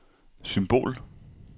symbol